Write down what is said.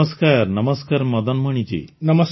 ନମସ୍କାର ନମସ୍କାର ମଦନମଣିଜୀ